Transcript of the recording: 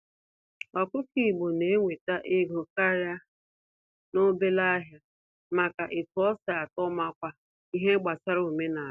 Ọkụkọ igbo na-enwete ego karịa n'obele ahịa maka etu osi atọ makwa ihe gbasara omenala.